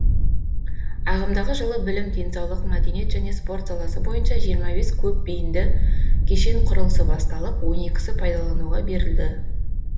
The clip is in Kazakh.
ағымдағы жылы білім денсаулық мәдениет және спорт саласы бойынша жиырма бес көпбейінді кешен құрылысы басталып он екісі пайдалануға берілді